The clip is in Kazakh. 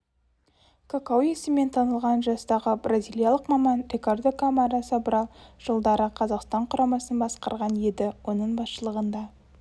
какау есімімен танылған жастағы бразилиялық маман рикардо камара собрал жылдары қазақстан құрамасын басқарған еді оның басшылығында